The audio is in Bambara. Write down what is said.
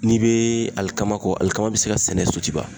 N'i be alikama kɔ, alikama be se ka sɛnɛ Sotiba.